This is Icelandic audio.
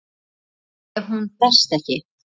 Hvað ef hún berst ekki?